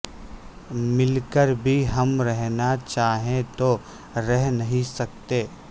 مل کر بھی ہم رہنا چاہیں تو رہ نہیں سکتے